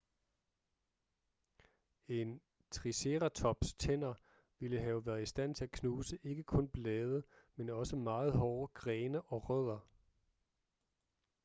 en triceratops' tænder ville have været i stand til at knuse ikke kun blade men også meget hårde grene og rødder